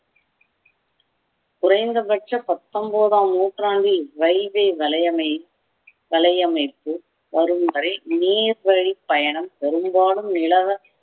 குறைந்தபட்ச பத்தொன்பதாம் நூற்றாண்டில் railway வளையமை வளையமைப்பு வரும் வரை நேர் வழி பயணம் பெரும்பாலும் நிலவ